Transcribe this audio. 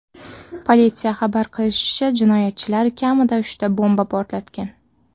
Politsiya xabar qilishicha, jinoyatchilar kamida uchta bomba portlatgan.